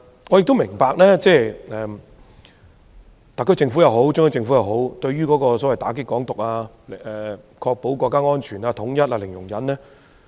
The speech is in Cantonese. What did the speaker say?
我也明白特區政府和中央政府對於"港獨"零容忍，以確保國家安全和統一。